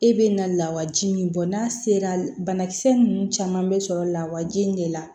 E bɛ na lawaji min bɔ n'a sera banakisɛ ninnu caman bɛ sɔrɔ lawaji in de la